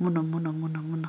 mũno mũno mũno mũno.